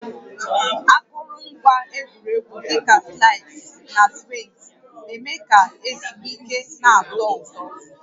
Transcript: Akụrụngwa egwuregwu dị ka slides na swings na-eme ka ezumike na-atọ ụtọ